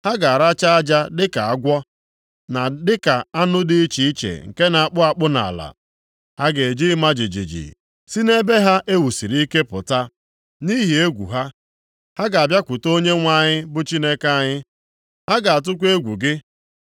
Ha ga-aracha aja dịka agwọ, na dịka anụ dị iche iche, nke na-akpụ akpụ nʼala. Ha ga-eji ịma jijiji si nʼebe ha e wusiri ike pụta. Nʼihi egwu ha, ha ga-abịakwute Onyenwe anyị bụ Chineke anyị. Ha ga-atụkwa egwu gị.